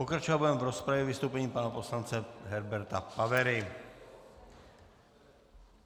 Pokračovat budeme v rozpravě vystoupením pana poslance Herberta Pavery.